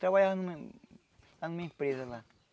Trabalha numa lá numa empresa lá.